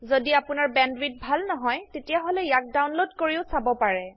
যদি আপোনাৰ বেণ্ডৱিডথ ভাল নহয় তেতিয়াহলে ইয়াক ডাউনলোড কৰিও চাব পাৰে